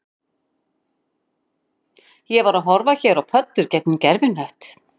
Ég var að horfa hér á pöddur gegnum gervihnött